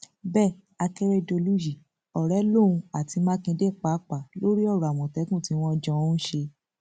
bẹẹ akèrèdòlù yìí ọrẹ lòun àti mákindé pàápàá lórí ọrọ àmọtẹkùn tí wọn jọ ń ṣe